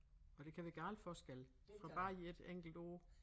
Og det kan være galt forskelle fra bare i ét enkelt ord